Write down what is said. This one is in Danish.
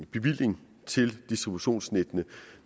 bevillingen til distributionsnettene